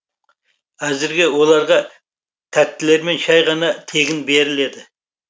әзірге оларға тәттілермен шәй ғана тегін беріледі